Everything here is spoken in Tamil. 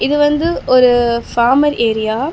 இது வந்து ஒரு ஃபாமர் ஏரியா .